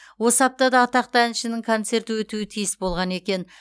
осы аптада атақты әншінің концерті өтуі тиіс болған екен